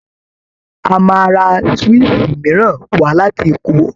A máa ra swíìṣì mìíràn wá láti Èkó